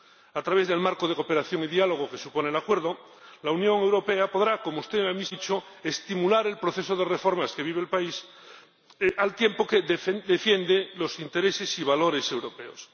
A través del marco de cooperación y diálogo que supone el Acuerdo, la Unión Europea podrá, como usted misma ha dicho, estimular el proceso de reformas que vive el país, al tiempo que defiende los intereses y valores europeos.